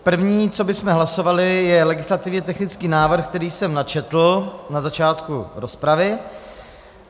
První, co bychom hlasovali, je legislativně technický návrh, který jsem načetl na začátku rozpravy.